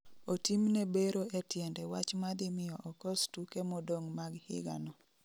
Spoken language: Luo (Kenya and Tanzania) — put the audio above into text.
Otimne bero e tiende wach ma dhi miyo okos tuke modong' mag higa no